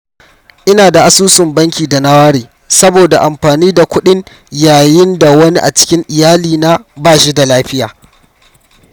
Ina da asusun banki da na ware saboda amfani da kuɗin yayin da wani a cikin iyalina ba shi da lafiya.